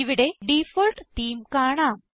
ഇവിടെ default theme കാണാം